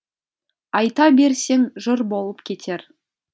айта берсең жыр болып кетер